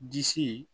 Disi